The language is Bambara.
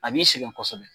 A b'i sɛgɛn kosɛbɛ